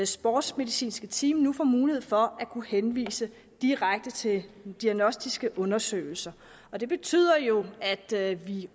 sportsmedicinske team nu får mulighed for at kunne henvise direkte til diagnostiske undersøgelser og det betyder jo at vi